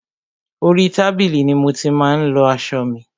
Orí tábìlì ni mo ti má ń lọ aṣọ mi.